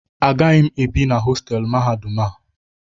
Agaghị m ebi na hostelụ mahadum a